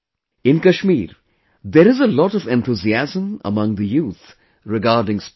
In Kashmir, there is a lot of enthusiasm among the youth regarding sports